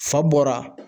Fa bɔra